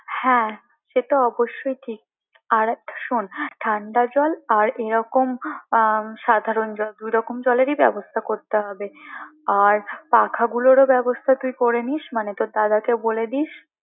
হ্যাঁ সে তো অবশ্যই ঠিক আর শোন ঠান্ডা জল আর এরকম আহ সাধারণ জল দু রকম জলেরই ব্যবস্থা করতে হবে আর পাখাগুলোর ও ব্যবস্থা তুই করে নিস মানে তোর দাদাকেও বলে দিস